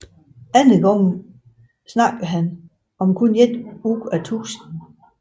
Andre gange talte han om kun én ud af tusind